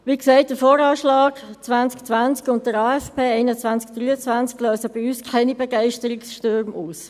Wie gesagt: Der VA 2020 und der AFP 2021–2023 lösen bei uns keine Begeisterungsstürme aus.